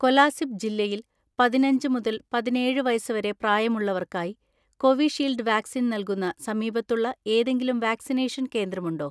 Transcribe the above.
കൊലാസിബ് ജില്ലയിൽ പതിനഞ്ച് മുതൽ പതിനേഴ് വയസ്സ് വരെ പ്രായമുള്ളവർക്കായി കോവിഷീൽഡ് വാക്‌സിൻ നൽകുന്ന സമീപത്തുള്ള ഏതെങ്കിലും വാക്‌സിനേഷൻ കേന്ദ്രമുണ്ടോ?